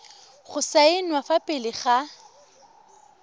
go saenwa fa pele ga